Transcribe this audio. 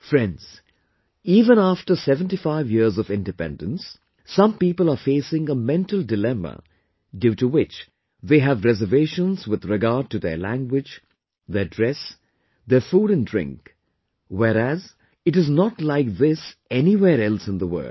Friends, even after 75 years of independence, some people are facing a mental dilemma due to which they have reservations with regard to their language, their dress, their food and drink, whereas, it is not like this anywhere else in the world